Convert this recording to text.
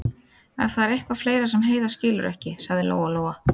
Ef það er eitthvað fleira sem Heiða skilur ekki, sagði Lóa-Lóa.